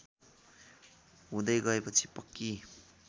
हुँदै गएपछि पक्की